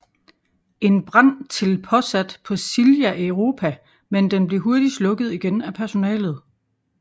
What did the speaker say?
En brand til påsat på Silja Europa men den bliver hurtigt slukket igen af personalet